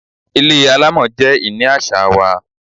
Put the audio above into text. Ilé alámọ̀ jẹ ìní àṣà wa.